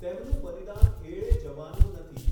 તેમનું બલિદાન એળે જવાનું નથી.